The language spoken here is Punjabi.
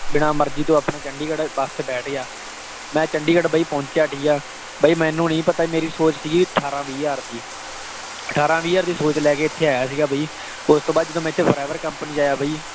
ਬਿਨਾ ਮਰਜ਼ੀ ਤੋਂ ਆਪਣਾ ਚੰਡੀਗੜ੍ਹ ਬੱਸ ਵਿਚ ਬੈਠ ਗਿਆ। ਮੈਂ ਚੰਡੀਗੜ੍ਹ ਬਾਈ ਪੌਂਚਿਆ, ਠੀਕ ਹੈ। ਬਾਈ ਮੈਨੂੰ ਨਹੀਂ ਪਤਾ ਮੇਰੀ ਸੋਚ ਸੀ ਅਠਾਰਾਂ, ਵੀਹ ਹਜ਼ਾਰ ਦੀ। ਅਠਾਰਾਂ, ਵੀ ਹਜ਼ਾਰ ਦੀ ਸੋਚ ਲੈ ਕੇ ਇੱਥੇ ਆਇਆ ਸੀਗਾ ਬਈ। ਓਸ ਤੋਂ ਬਾਅਦ ਜਦੋਂ ਇੱਥੇ ਮੈਂ forever company ਵਿਚ ਆਇਆ ਬਈ